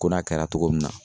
Ko n'a kɛra togo min na